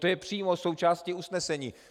To je přímo součástí usnesení.